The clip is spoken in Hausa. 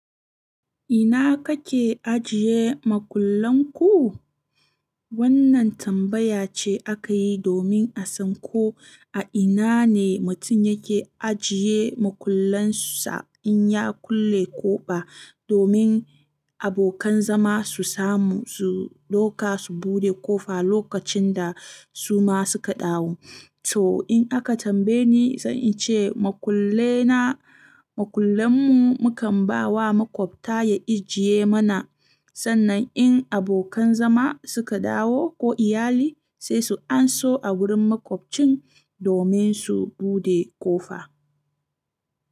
Ina kake ajiye makullan ku? Wannan tambaya ce aka yi domin a san ko a ina ne mutum yake ajiye makullansa in ya kulle ƙofa domin abokan zama su samu su dauka su buɗe ƙofa lokacin da su ma suka dawo. To, in aka tambaye ni, zan ce makullan mu mukan ba wa maƙwabta ya ajiye mana sannan in abokan zama suka dawo ko iyali sai su anso a wurin maƙwabcin domin su buɗe ƙofa.